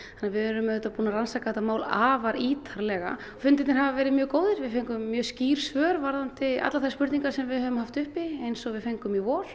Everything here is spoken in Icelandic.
við erum búin að rannsaka þetta mál afar ítarlega fundirnir hafa verið mjög góðir við fengum mjög skýr svör varðandi allar þær spurningar sem við höfum haft uppi eins og við fengum í vor